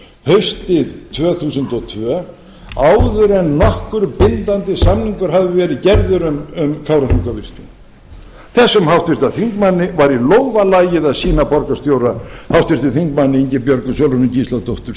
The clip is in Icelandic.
haustið tvö þúsund og tvö áður en nokkur bindandi samningur hafði verið gerður um kárahnjúkavirkjun þessum háttvirtum þingmanni var í lófa lagið að sýna borgarstjóra háttvirtur þingmaður ingibjörgu sólrúnu gísladóttur